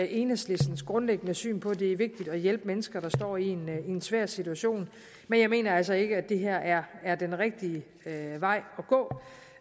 enhedslistens grundlæggende syn på at det er vigtigt at hjælpe mennesker der står i en svær situation men jeg mener altså ikke at det her er den rigtige vej